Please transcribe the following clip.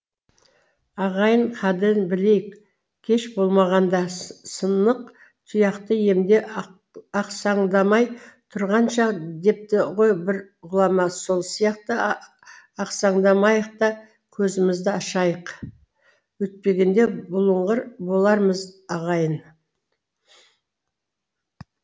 ағайын қадірін білейік кеш болмағанда сынық тұяқты емде ақсандамай тұрғанша депті ғо бір ғұлама сол сияқты ақсандамайык та көзімзді ашайык өйтпегенде бұлыңғыр болармыз ағайын